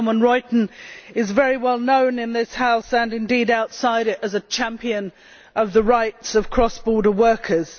Ria Oomen Ruijten is very well known in this House and indeed outside it as a champion of the rights of cross border workers.